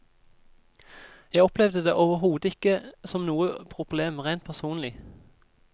Jeg opplevde det overhodet ikke som noe problem rent personlig.